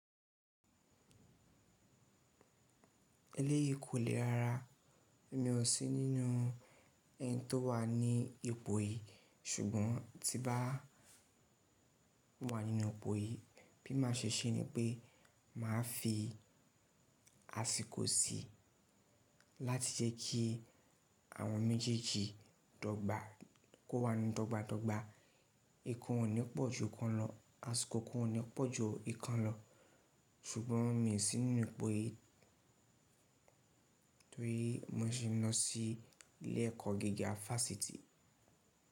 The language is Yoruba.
Eléyìí kò le rára. Èmi ò sí nínú eni tó wà ní ipò yìí ṣùgbọ́n tí bá wà nínú ipò yìí bí màá ṣe ṣé ni pé màá fi àsìkò si láti jẹ́ kí àwọn méjèèjì dọ́gba ko wà ní dọ́gba dọ́gba. Ikan ò ní pọ̀ ju kan lọ. Àsìkò kan ò ní pọ̀ ju ìkan lọ ṣùgbọ́n mi i sí nínú ipò yìí torí mó ṣi ń lọ sí ilé ẹ̀kọ́ gíga fásitì.